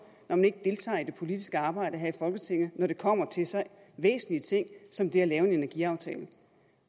når man ikke deltager i det politiske arbejde her i folketinget når det kommer til så væsentlige ting som det at lave en energiaftale